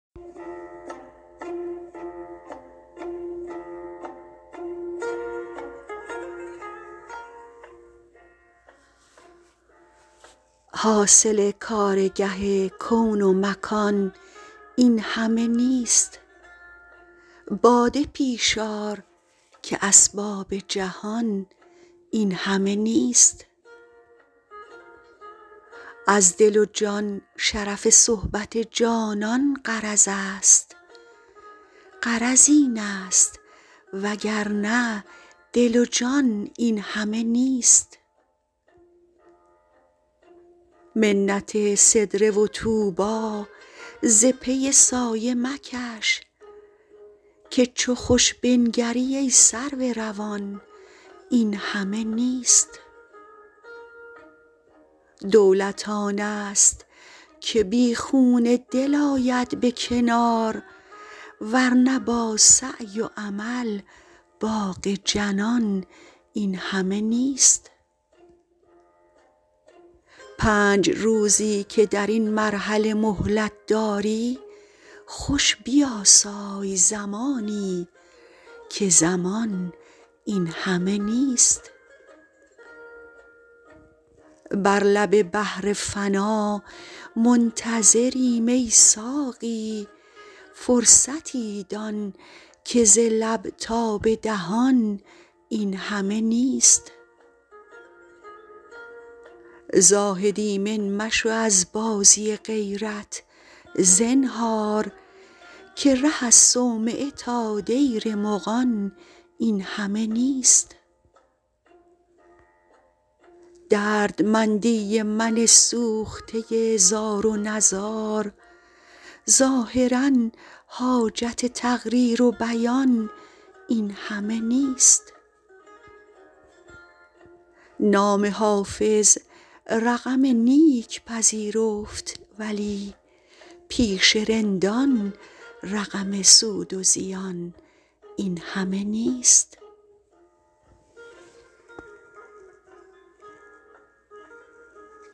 حاصل کارگه کون و مکان این همه نیست باده پیش آر که اسباب جهان این همه نیست از دل و جان شرف صحبت جانان غرض است غرض این است وگرنه دل و جان این همه نیست منت سدره و طوبی ز پی سایه مکش که چو خوش بنگری ای سرو روان این همه نیست دولت آن است که بی خون دل آید به کنار ور نه با سعی و عمل باغ جنان این همه نیست پنج روزی که در این مرحله مهلت داری خوش بیاسای زمانی که زمان این همه نیست بر لب بحر فنا منتظریم ای ساقی فرصتی دان که ز لب تا به دهان این همه نیست زاهد ایمن مشو از بازی غیرت زنهار که ره از صومعه تا دیر مغان این همه نیست دردمندی من سوخته زار و نزار ظاهرا حاجت تقریر و بیان این همه نیست نام حافظ رقم نیک پذیرفت ولی پیش رندان رقم سود و زیان این همه نیست